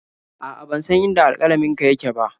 A'a, ban san inda alƙalaminka yake ba.